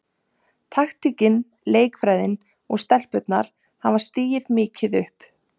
Taktíkin, leikfræðin og stelpurnar hafa stigið mikið upp.